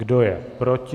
Kdo je proti?